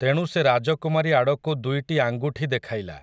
ତେଣୁ ସେ ରାଜକୁମାରୀ ଆଡ଼କୁ ଦୁଇଟି ଆଙ୍ଗୁଠି ଦେଖାଇଲା ।